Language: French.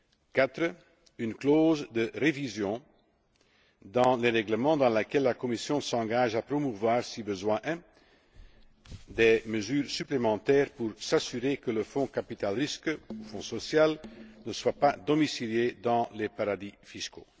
Quatrièmement, la mention d'une clause de révision dans les règlements, par laquelle la Commission s'engage à promouvoir, si besoin est, des mesures supplémentaires pour s'assurer que le fonds de capital risque, le fonds social, ne soit pas domicilié dans les paradis fiscaux.